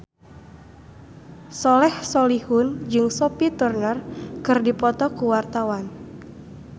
Soleh Solihun jeung Sophie Turner keur dipoto ku wartawan